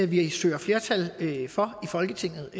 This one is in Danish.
vi søger flertal for i folketinget